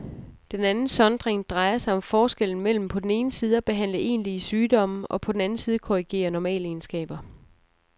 Den anden sondring drejer sig om forskellen mellem på den ene side at behandle egentlige sygdomme og på den anden side korrigere normalegenskaber.